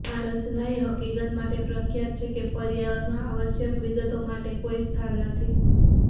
આ રચના એ હકીકત માટે પ્રખ્યાત છે કે પર્યાવરણમાં અનાવશ્યક વિગતો માટે કોઈ સ્થાન નથી